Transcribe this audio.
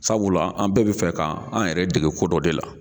Sabula an bɛɛ bɛ fɛ kan an yɛrɛ dege ko dɔ de la.